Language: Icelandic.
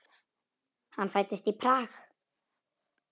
Hann fæddist í Prag.